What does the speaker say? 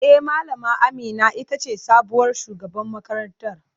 E, Malama Amina ita ce sabuwar shugaban makarantar.